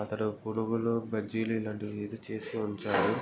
అతడు పునుగులు బజ్జీలు ఇలాంటివి ఏదో చేస్తూ ఉంటాడు.